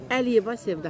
Əliyeva Sevda.